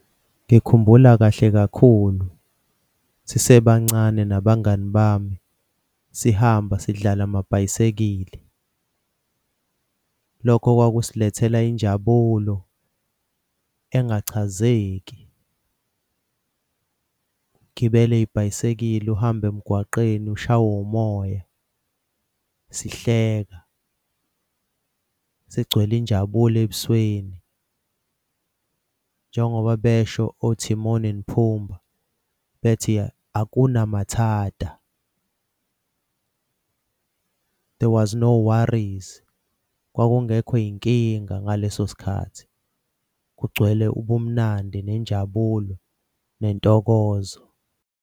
Ngikhumbula kahle kakhulu sisebancane nabangani bami sihamba sidlala amabhayisekile. Lokho kwakusilethela injabulo engachazeki, ukugibela ibhayisekili uhamba emgwaqeni ushawe umoya. Sihleka sigcwele injabulo ebusweni njengoba besho oTimon and Pumba bethi hakuna matata, there was no worries. Kwakungekho y'nkinga ngaleso sikhathi kugcwele ubumnandi, nenjabulo, nentokozo.